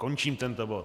Končím tento bod.